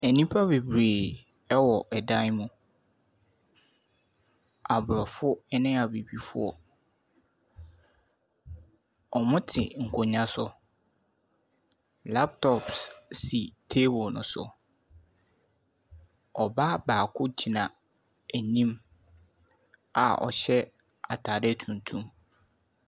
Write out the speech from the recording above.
Nipa bebree wɔ dan mu. Aborɔfo ne Abibifoɔ. Wɔte nkonnwa so. Laptops si table no so. Ɔbaa baako gyina anim a ɔhyɛ atadeɛ tuntum.